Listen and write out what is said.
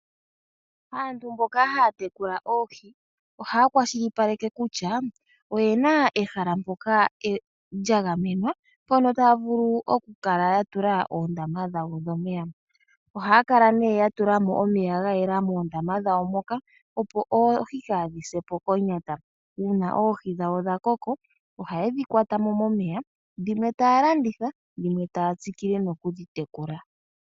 aantu mboka haya tekula oohi ohaya kwashilipaleke kutya oye na ehala mpoka lya gamenwa mpono taya vulu okukala ya tula oondama dhawo dhomeya. Ohaya kala nee ya tula mo omeya ga yela moondamba dhawo moka, opo oohi kaadhi se po konyata. Uuna oohi dhawo dha koko ohaye dhi kwata mo momeya. Dhimwe taya landitha dhimwe taya tsikile nokudhi tekula.